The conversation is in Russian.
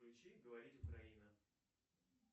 включи говорит украина